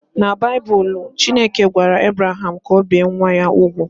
Na Baịbụl, Chineke gwara Ebraham ka o bie nwa ya nwoke úgwù